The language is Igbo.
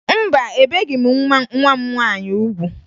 Mba, ebeghi m nwa m nwaanyị ugwu